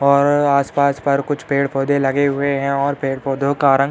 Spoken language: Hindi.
और आस-पास पर कुछ पेड़-पौधे लगे हुए है और पेड-पौधों का रंग --